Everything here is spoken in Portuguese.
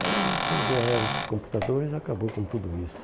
Aí, quando veio a era dos computadores, acabou com tudo isso.